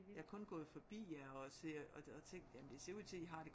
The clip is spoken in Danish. Jeg er kun gået forbi jer og ser og tænkt jamen det ser ud til at I har det